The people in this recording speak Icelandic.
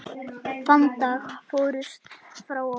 Þann dag fórstu frá okkur.